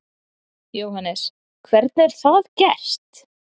Jóhannes: Hvernig er það gert?